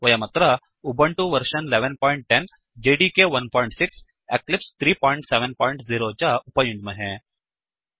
वयमत्र Ubuntu version 1110 JDK 16 Eclipse 370 च उपयुञ्ज्महे